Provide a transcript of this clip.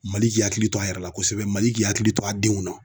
Mali k'i hakili to a yɛrɛ la kosɛbɛ ,Mali k'i hakili to a denw na.